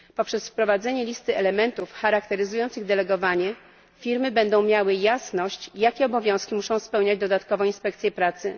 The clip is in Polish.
Dzięki wprowadzeniu listy elementów charakteryzujących delegowanie firmy będą miały jasność, jakie obowiązki muszą spełniać dodatkowo inspekcje pracy.